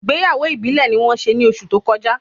Ìgbéyàwó ìbílè ni wón se ni oṣù tó kọjá